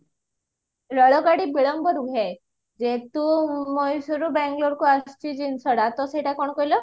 ରେଳ ଗାଡି ବିଳମ୍ବ ରୁହେ ଯେହେତୁ ମଏଶ୍ଵରରୁ bangloreକୁ ଆସିଛି ଜିନିଷ ଟା ତ ସେଇଟା କଣ କହିଲ